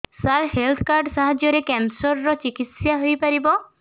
ସାର health card ସାହାଯ୍ୟରେ cancer ର ଚିକିତ୍ସା ହେଇପାରିବ